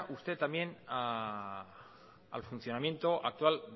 usted también al funcionamiento actual